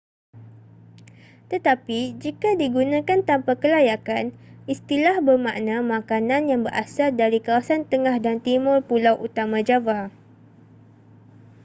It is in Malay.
tetapi jika digunakan tanpa kelayakan istilah bermakna makanan yang berasal dari kawasan tengah dan timur pulau utama java